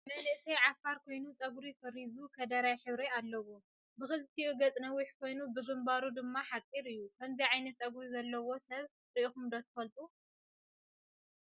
መንእሰይ ዓፋር ኮይኑ ፀጉሪ ፈሪዙ ከደራይ ሕብሪ ኣለዎ ። ብክልቲኡ ገፅ ነዊሕ ኮይኑ ብግንባሩ ድማ ሓፂር እዩ ። ከምዚ ዓይነ ፀጉሪ ዘለዋ ሰብ ሪኢኩም ትፈልጡ ዶ ?